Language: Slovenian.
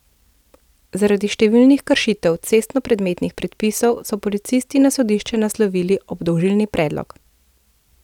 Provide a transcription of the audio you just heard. Zaradi številnih kršitev cestnoprometnih predpisov so policisti na sodišče naslovili obdolžilni predlog.